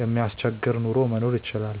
የማያስቸግር ኑሮ መኖር ይችላል።